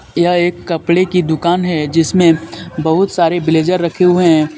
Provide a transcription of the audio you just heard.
यह एक कपड़े की दुकान है जिसमें बहुत सारे ब्लेजर रखें हुये है।